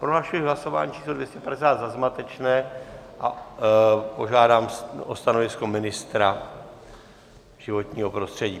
Prohlašuji hlasování číslo 250 za zmatečné a požádám o stanovisko ministra životního prostředí.